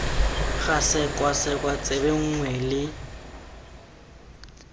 ga sekwasekwa tsebe nngwe le